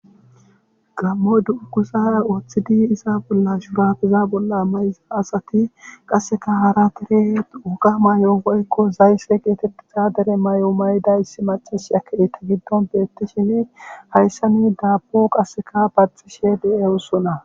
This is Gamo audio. gammo du7ukuza wooththidi isa bollash baagiza bolla mayza asati qasseka hara tire ukamayo oykko zaysse geetettiza dere may7o mayda issi macash aketi giddon beetti shine hayssani daapo qasseka baxishe de7e ussona